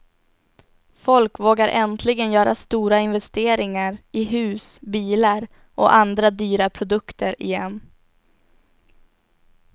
Folk vågar äntligen göra stora investeringar i hus, bilar och andra dyra produkter igen.